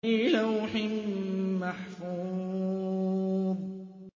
فِي لَوْحٍ مَّحْفُوظٍ